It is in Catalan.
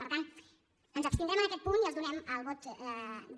per tant ens abstindrem en aquest punt i els donem el vot de